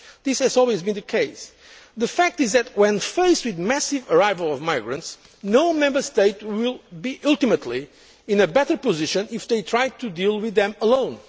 This has always been the case. The fact is that when faced with a massive arrival of migrants no Member State will ultimately be in a better position if it tries to deal with them